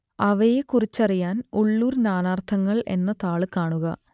അവയെക്കുറിച്ചറിയാൻ ഉള്ളൂർ നാനാർത്ഥങ്ങൾ എന്ന താൾ കാണുക